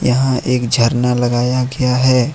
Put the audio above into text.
यहां एक झरना लगाया गया है।